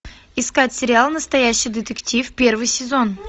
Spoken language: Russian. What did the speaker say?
искать сериал настоящий детектив первый сезон